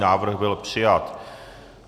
Návrh byl přijat.